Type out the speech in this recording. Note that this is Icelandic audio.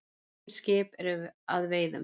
Engin skip eru að veiðum.